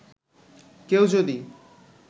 কেউ যদি